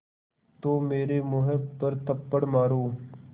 तो मेरे मुँह पर थप्पड़ मारो